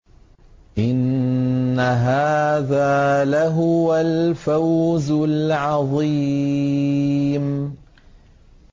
إِنَّ هَٰذَا لَهُوَ الْفَوْزُ الْعَظِيمُ